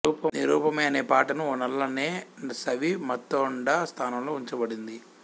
నీ రూపమే అనే పాటను ఓ నల్లనే సవి మథోండా స్థానంలో ఉంచబడింది